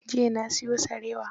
Jiya na siyo sarewa.